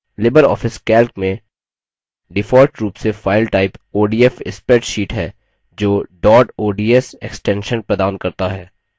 Libre office calc में default रूप से file type odf spreadsheet है जो dot ods extension प्रदान करता है